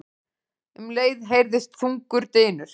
Um leið heyrðist þungur dynur.